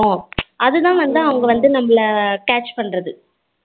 அதுதான் வந்து அவங்க வந்து catch பண்ணுறது